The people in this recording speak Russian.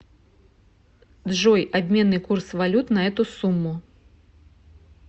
джой обменный курс валют на эту сумму